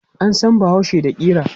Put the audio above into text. An san bahaushe da ƙira.